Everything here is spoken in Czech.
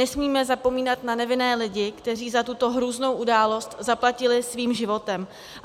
Nesmíme zapomínat na nevinné lidi, kteří za tuto hrůznou událost zaplatili svým životem.